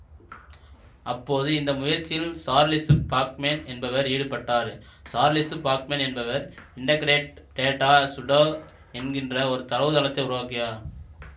அப்போது இந்த முயற்சியில் சார்லெசு பாக்மேன் என்பவர் ஈடுபட்டார் சார்லெசு பாக்மென் என்பவர் இன்டெக்ரேடட் டேடா சுடோர் என்கின்ற ஒரு தரவுத்தளத்தை உருவாக்கியவர்